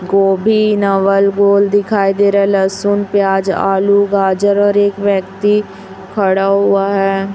गोभी नवल गोल दिखाई दे रहा है लहसुन प्याज आलू गाजर और एक व्यक्ति खड़ा हुआ है।